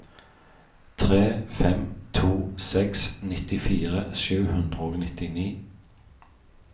tre fem to seks nittifire sju hundre og nittini